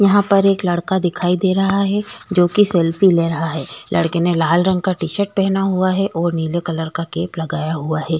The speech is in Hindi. यहां पर एक लड़का दिखाई दे रहा है जो कि सेल्फी ले रहा है लड़के ने लाल रंग का टी-शर्ट पहना हुआ है और नीले कलर का कैप लगाया हुआ है।